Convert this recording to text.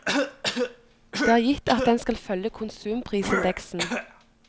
Det er gitt at den skal følge konsumprisindeksen.